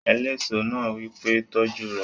Eléso náà wí pé "tọ́jú rẹ̀!"